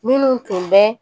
Minnu tun bɛ